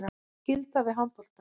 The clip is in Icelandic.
Skylda við handboltann